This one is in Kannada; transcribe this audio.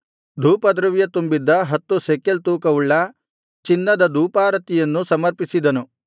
ಧೂಪದ್ರವ್ಯ ತುಂಬಿದ್ದ ಹತ್ತು ಶೆಕೆಲ್ ತೂಕವುಳ್ಳ ಚಿನ್ನದ ಧೂಪಾರತಿಯನ್ನು ಸಮರ್ಪಿಸಿದನು